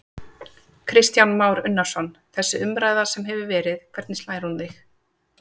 Kristján Már Unnarsson: Þessi umræða sem hefur verið, hvernig slær hún þig?